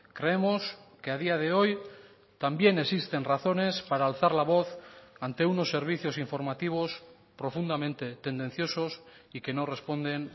creemos que a día de hoy también existen razones para alzar la voz ante unos servicios informativos profundamente tendenciosos y que no responden